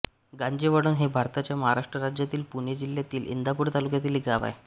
गांजेवळण हे भारताच्या महाराष्ट्र राज्यातील पुणे जिल्ह्यातील इंदापूर तालुक्यातील एक गाव आहे